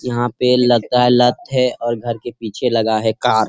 यहां पे लगता हैं लत है और घर के पीछे लगा है कार --